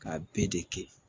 K'a bɛɛ de kɛ